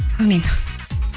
әумин